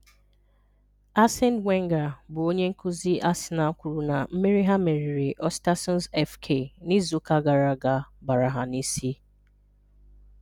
Arsene Wenger bụ onye nkuzi Arsenal kwuru na mmeri ha meriri Ostersunds FK n'izuụka gara aga bara ha n'isi.